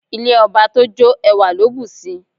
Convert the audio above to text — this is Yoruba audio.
Ilé ọba tójó ẹwà ló bùsi.